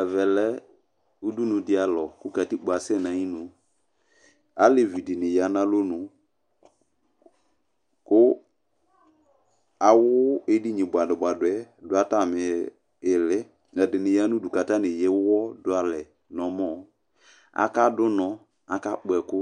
Ɛvɛ lɛ udunu di alɔ kʋ katikpo asɛ n'syinu Alevi dini ya n'alɔnu kʋ awʋ edini buadʋbuadʋ yɛ dʋ atam'iili, ɛdini ya n'udu k'atani ewu dʋ alɛ n'ɔmɔ, aka dʋ ʋnɔ, aka kpɔ ɛkʋ